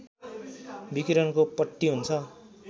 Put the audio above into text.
विकिरणको पट्टी हुन्छ